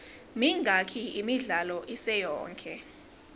mingaki imidlalo isiyonke